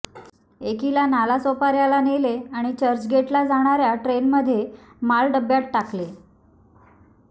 एकीला नालासोपाऱ्याला नेले आणि चर्चगेटला जाणाऱ्या ट्रेनमध्ये माल डब्यात टाकले